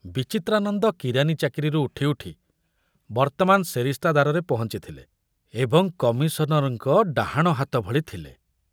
ବିଚିତ୍ରାନନ୍ଦ କିରାନୀ ଚାକିରିରୁ ଉଠି ଉଠି ବର୍ତ୍ତମାନ ସେରିସ୍ତାଦାରରେ ପହଞ୍ଚିଥିଲେ ଏବଂ କମିଶନରଙ୍କ ଡାହାଣ ହାତ ଭଳି ଥିଲେ।